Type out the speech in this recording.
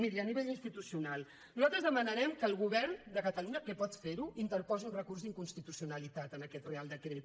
miri a nivell institucional nosaltres demanarem que el govern de catalunya que pot ferho interposi un recurs d’inconstitucionalitat en aquest reial decret